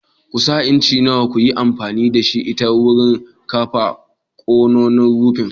Ƙusa incin nawa ka yi amfani da ita wurin kafa kwanon rufin?